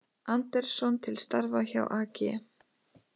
Andersson til starfa hjá AG